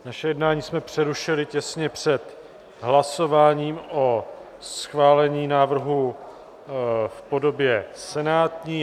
Naše jednání jsme přerušili těsně před hlasováním o schválení návrhu v podobě senátní.